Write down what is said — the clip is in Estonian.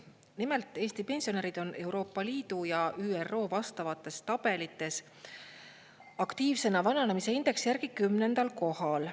Nimelt, Eesti pensionärid on Euroopa Liidu ja ÜRO vastavates tabelites aktiivsena vananemise indeksi järgi 10. kohal.